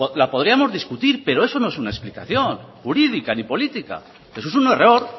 la podríamos discutir pero eso no es una explicación jurídica ni política eso es un error